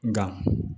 Nka